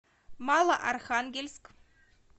малоархангельск